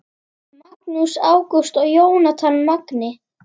Magnús Ágúst og Jónatan Magni